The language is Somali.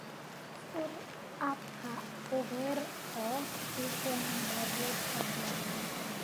Fur app-ka uber oo ii keen baabuur fadlan